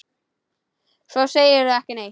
Svo segirðu ekki neitt.